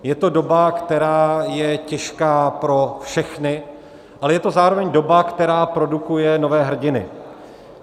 Je to doba, která je těžká pro všechny, ale je to zároveň doba, která produkuje nové hrdiny.